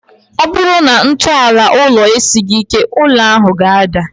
Ọ bụrụ na ntọala ụlọ esighi ike, ụlọ ahụ ga-ada